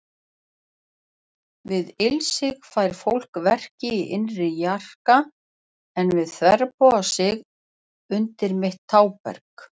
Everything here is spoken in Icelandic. Við ilsig fær fólk verki í innri jarka, en við þverbogasig undir mitt tábergið.